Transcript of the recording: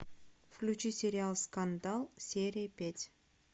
включи сериал скандал серия пять